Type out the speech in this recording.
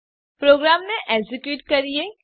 પ્રોગ્રામને એક્ઝેક્યુટ કરીએ